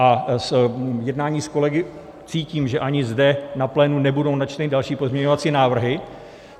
A z jednání s kolegy cítím, že ani zde na plénu nebudou načteny další pozměňovací návrhy.